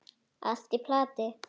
Allt í plati!